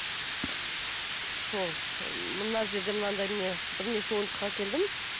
сол мына жерде мынандай міне бірнеше ойыншық әкелдім